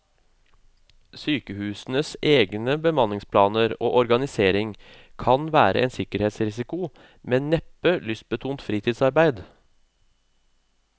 Sykehusenes egne bemanningsplaner og organisering kan være en sikkerhetsrisiko, men neppe lystbetont fritidsarbeid.